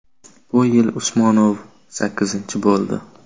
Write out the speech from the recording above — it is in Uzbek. Bu yil Usmonov sakkizinchi bo‘ldi.